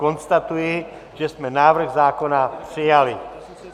Konstatuji, že jsme návrh zákona přijali.